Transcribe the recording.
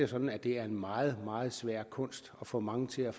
sådan at det er en meget meget svær kunst at få mange til at